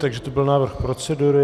Takže to byl návrh procedury.